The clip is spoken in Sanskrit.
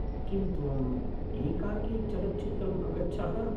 किं त्वम्‌ एकाकी चलच्चित्रम् अगच्छः?